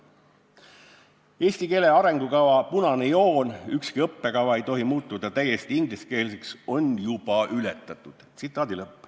Ehala sõnul on eesti keele arengukava punane joon – ükski õppekava ei tohi muutuda täiesti ingliskeelseks – juba ületatud.